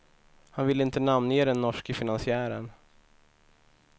Han vill inte namnge den norske finansiären.